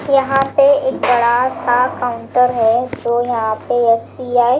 यहां पे एक बड़ा सा काउंटर है जो यहां पे एस_बी_आई --